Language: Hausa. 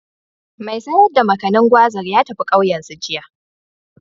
Mai sayar da Makanin/Gwazar ya tafi ƙauyensu, jiya.